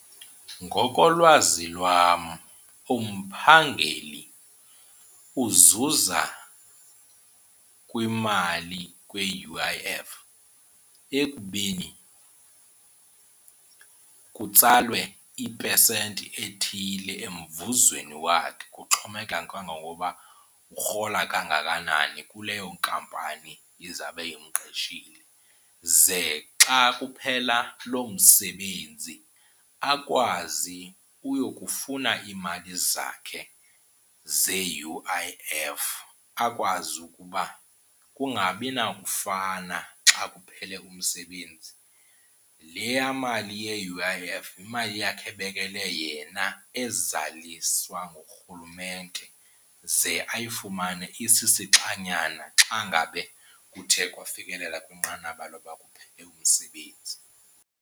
Ngokolwazi lwam umphangeli uzuza kwimali kwi-U_I_F ekubeni kutsalwe ipesenti ethile emvuzweni wakhe, kuxhomekeka ke ngoba urhola kangakanani kuleyo nkampani izawube imqeshile. Ze xa kuphela lo msebenzi akwazi uyokufuna iimali zakhe ze-U_I_F akwazi ukuba kungabi nakufana xa kuphele umsebenzi. Leya mali ye-U_I_F yimali yakhe ebekelwe yena ezaliswa nguRhulumente ze ayifumane isisixanyana xa ngabe kuthe kwafikelela kwinqanaba lokuba kuphele umsebenzi.